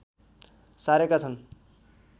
सारेका छन्